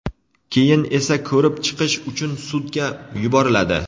keyin esa ko‘rib chiqish uchun sudga yuboriladi.